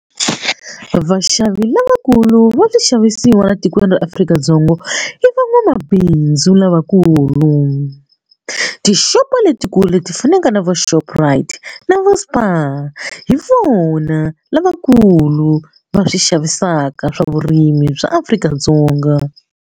Vaxavi lavakulu va swixavisiwa la tikweni ra Afrika-Dzonga i van'wamabindzu lavakulu tixopo letikulu leti fanaka na vo Shoprite na va Spar hi vona lavakulu va swi xavisaka swa vurimi bya Afrika-Dzonga.